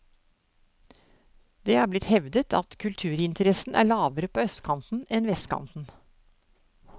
Det er blitt hevdet at kulturinteressen er lavere på østkanten enn vestkanten.